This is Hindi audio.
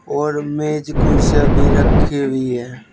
और मेज कुर्सीयां भी रखी हुई है।